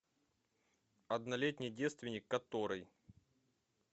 однолетний девственник который